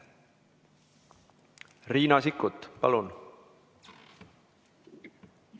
Riina Sikkut, palun!